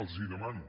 els hi demano